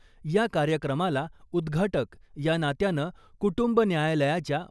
या कार्यक्रमाला उद्घाटक या नात्यानं कुटुंब न्यायालयाच्या